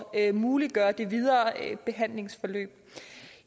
at muliggøre det videre behandlingsforløb